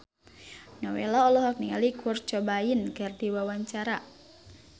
Nowela olohok ningali Kurt Cobain keur diwawancara